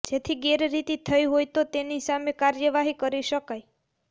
જેથી ગેરરીતિ થઇ હોય તો તેની સામે કાર્યવાહી કરી શકાય